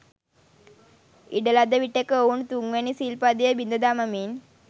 ඉඩ ලද විටෙක ඔවුන් තුන්වැනි සිල් පදය බිඳ දමමින්